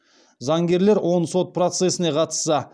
заңгерлер он сот процесіне қатысса